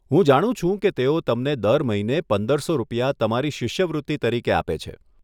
હું જાણું છું કે તેઓ તમને દર મહિને પંદરસો રૂપિયા તમારી શિષ્યવૃત્તિ તરીકે આપે છે.